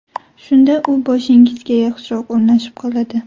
Shunda u boshingizga yaxshiroq o‘rnashib qoladi.